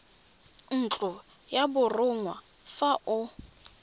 ntlo ya borongwa fa o